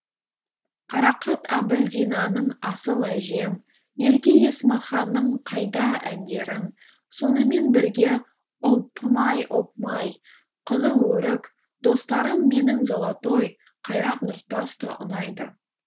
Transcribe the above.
қарақат әбілдинаның асыл әжем ерке есмаханның қайда әндерін сонымен бірге опмай опмай қызыл өрік достарым менің золотой қайрат нұртас та ұнайды